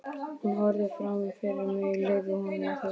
Ég horfði fram fyrir mig, leyfði honum að þusa.